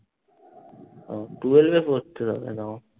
উহ twelve এ পড়তো তখন এরকম।